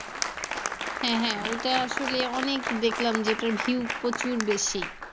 হ্যাঁ হ্যাঁ ওইটা আসলে অনেক দেখলাম যে ওটার view প্রচুর বেশি।